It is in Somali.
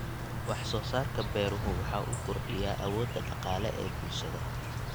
Wax soo saarka beeruhu waxa uu kordhiyaa awoodda dhaqaale ee bulshada.